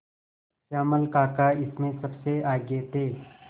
श्यामल काका इसमें सबसे आगे थे